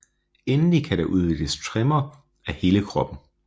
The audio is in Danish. Endelig kan der udvikles tremor af hele kroppen